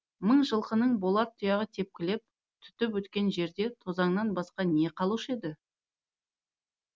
мың жылқының болат тұяғы тепкілеп түтіп өткен жерде тозаңнан басқа не қалушы еді